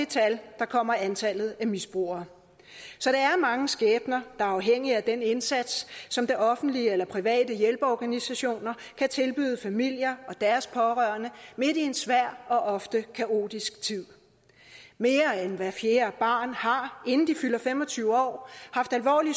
tal kommer antallet af misbrugere så der er mange skæbner er afhængige af den indsats som det offentlige eller private hjælpeorganisationer kan tilbyde familier og deres pårørende midt i en svær og ofte kaotisk tid mere end hver fjerde barn har inden det fylder fem og tyve år haft alvorlig